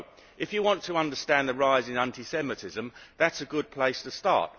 If you want to understand the rise in anti Semitism, that is a good place to start.